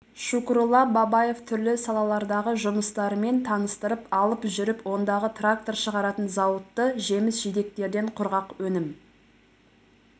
шукрулла бабаев түрлі салалардағы жұмыстарымен таныстырып алып жүріп ондағы трактор шығаратын зауытты жеміс-жидектерден құрғақ өнім